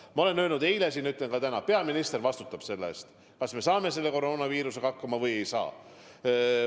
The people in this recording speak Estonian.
Ma ütlesin eile siin ja ütlen ka täna: peaminister vastutab selle eest, kas me saame koroonaviirusega hakkama või ei saa.